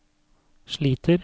sliter